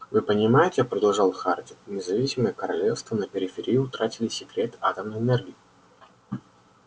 вы понимаете продолжал хардин независимые королевства на периферии утратили секрет атомной энергии